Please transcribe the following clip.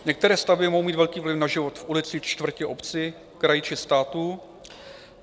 Některé stavby mohou mít velký vliv na život v ulici, čtvrti, obci, kraji či státu.